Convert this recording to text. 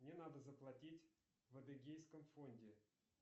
мне надо заплатить в адыгейском фонде